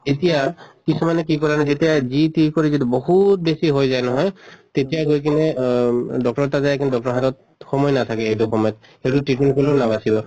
এতিয়া কিছুমানে কি কৰে ন যেতিয়া যি তি কৰি যিটো বহুত বেছি হৈ যায় নহয়, তেতিয়া গৈ কিনে অহ উম doctor তাত যায় কিন্তু doctor ৰৰ হাতত সময় নাথাকে সেইটো সময়ত। সেইটো treatment কোনো নাবাচিব।